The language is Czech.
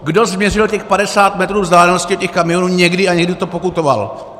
Kdo změřil těch 50 metrů vzdálenosti těch kamionů někdy a někdy to pokutoval?